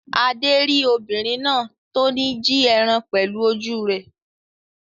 Adé rí obìnrin náà tó ní jí ẹran pẹ̀lú ojú rẹ̀.